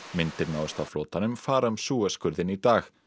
myndir náðust af flotanum fara um Suez skurðinn í dag